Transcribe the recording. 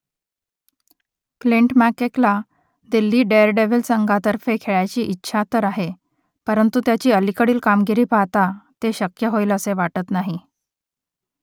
Clint McKella Delhi Daredevils संघातर्फे खेळायची इच्छा तर आहे परंतु त्याची अलीकडील कामगिरी पाहता ते शक्य होईल असे वाटत नाही